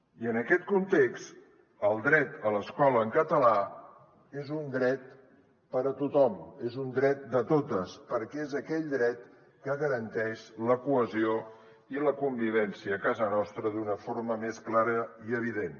i en aquest context el dret a l’escola en català és un dret per a tothom és un dret de totes perquè és aquell dret que garanteix la cohesió i la convivència a casa nostra d’una forma més clara i evident